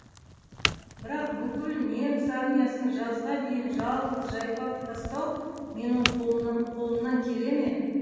бірақ бүкіл неміс армиясын жазға дейін жалғыз жайпап тастау менің колымнан келе ме